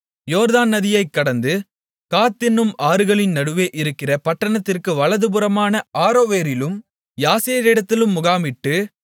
யோர்தான் நதியைக் கடந்து காத் என்னும் ஆறுகளின் நடுவே இருக்கிற பட்டணத்திற்கு வலதுபுறமான ஆரோவேரிலும் யாசேரிடத்திலும் முகாமிட்டு